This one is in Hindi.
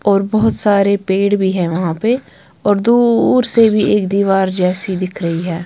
और बहोत सारे पेड़ भी हैं वहां पे और दूर से भी एक दीवार जैसी दिख रही है।